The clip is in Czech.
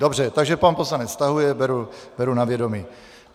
Dobře, takže pan poslanec stahuje, beru na vědomí.